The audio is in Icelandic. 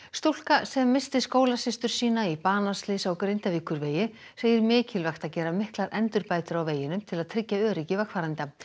stúlka sem missti skólasystur sína í banaslysi á Grindavíkurvegi segir mikilvægt að gera miklar endurbætur á veginum til að tryggja öryggi vegfarenda